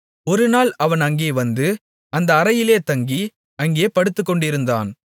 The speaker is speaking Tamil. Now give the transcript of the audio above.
ஒரு நாள் அவன் அங்கே வந்து அந்த அறையிலே தங்கி அங்கே படுத்துக்கொண்டிருந்தான்